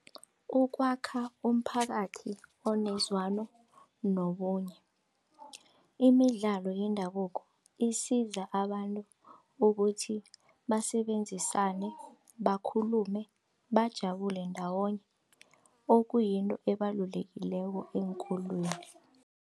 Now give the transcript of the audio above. Ukwakha umphakathi onezwano nobunye. Imidlalo yendabuko isiza abantu ukuthi basebenzisane bakhulume bajabule ndawonye okuyinto ebalulekileko eenkolweni.